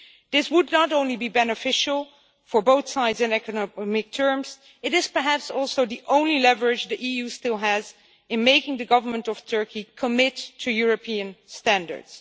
This would not only be beneficial to both sides in economic terms, but it is perhaps also the only leverage the EU still has in making the Government of Turkey commit to European standards.